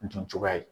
Dun cogoya ye